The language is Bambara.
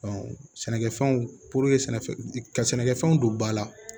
sɛnɛkɛfɛnw sɛnɛfɛn ka sɛnɛkɛfɛnw don ba la